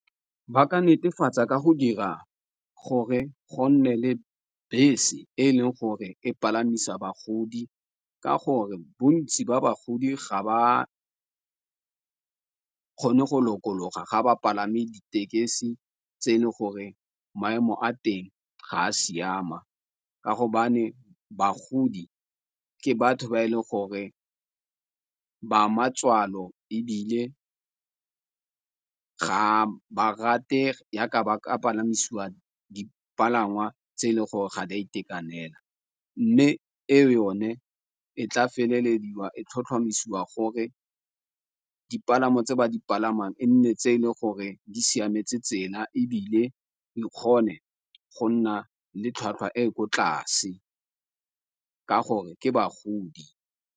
Ba ka netefatsa ka go dira gore go nne le bese e leng gore e palamisa bagodi ka gore bontsi ba bagodi ga ba kgone go lokologa ga ba palame ditekesi tse e le gore maemo a teng ga a siama, ka go bagodi ke batho ba e leng gore ba matswalo ebile ga ba rate yaka ba ka palamisiwa dipalangwa tse e le gore ga di itekanela. Mme e yone e tla felelediwa e tlhotlhomisiwang gore dipalamo tse ba di palamang e nne tse e le gore di siametse tsela ebile di kgone go nna le tlhwatlhwa e ko tlase ka gore ke bagodi.